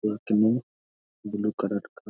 में blue colour का --